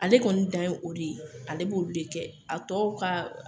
Ale kɔni dan ye o de ye ale b'olu de kɛ a tɔw ka